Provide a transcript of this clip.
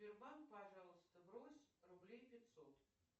сбербанк пожалуйста брось рублей пятьсот